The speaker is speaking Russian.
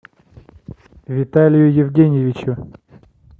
виталию евгеньевичу